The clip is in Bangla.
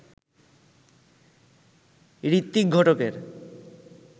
ঋত্বিক ঘটকের